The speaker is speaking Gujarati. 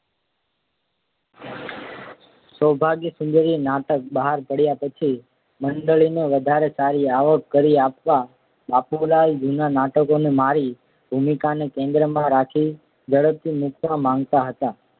સૌભાગ્યસુંદરી નાટક બહાર પાડ્યા પછી મંડળીને વધારે સારી આવક કરી આપવા બાપુલાલ જૂનાં નાટકોને મારી ભૂમિકાને કેન્દ્રમાં રાખી ઝડપથી મૂકવા માગતા હતા